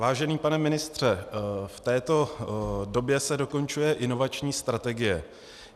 Vážený pane ministře, v této době se dokončuje inovační strategie.